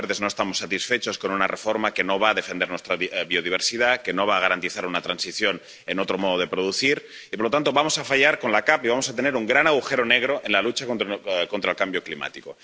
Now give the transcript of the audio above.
Como Verdes, no estamos satisfechos con una reforma que no va a defender nuestra biodiversidad, que no va a garantizar una transición hacia otro modo de producir y, por lo tanto, vamos a fallar con la PAC y vamos a tener un gran agujero negro en la lucha contra el cambio climático.